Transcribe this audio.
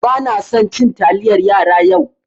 Banasan cin taliyar yara yau.